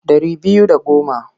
Ɗari biyu da goma.